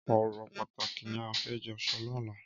Ọrọ pàtáki ni á fè jọ sọ lọ̀là